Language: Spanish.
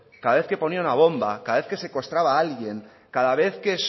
cada vez que ponía una bomba cada vez que secuestraba a alguien cada vez que